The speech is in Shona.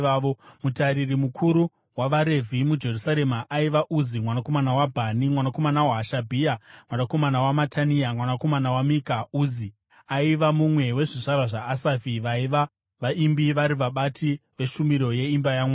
Mutariri mukuru wavaRevhi muJerusarema aiva Uzi mwanakomana waBhani, mwanakomana waHashabhia, mwanakomana waMatania, mwanakomana waMika. Uzi aiva mumwe wezvizvarwa zvaAsafi, vaiva vaimbi vari vabati veshumiro yeimba yaMwari.